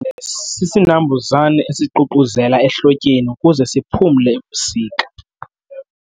Imbovane isisinambuzane esiququzela ehlotyeni ukuze siphumle ebusika.